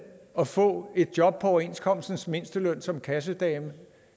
at få et job på overenskomstens mindsteløn som kassedame